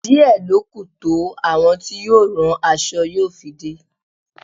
Díẹ̀ lọ kú to àwọn tí yóò rán aṣọ yóò fi dé.